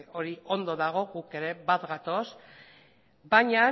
hori ondo dago gu ere bat gatoz baina